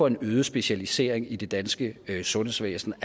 en øget specialisering i det danske sundhedsvæsen